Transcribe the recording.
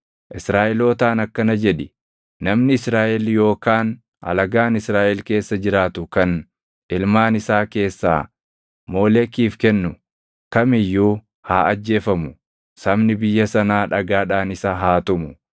“Israaʼelootaan akkana jedhi; ‘Namni Israaʼel yookaan alagaan Israaʼel keessa jiraatu kan ilmaan isaa keessaa Moolekiif kennu kam iyyuu haa ajjeefamu; sabni biyya sanaa dhagaadhaan isa haa tumu.